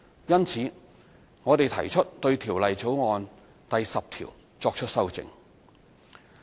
因此，我們提出對《條例草案》第10條作出修正。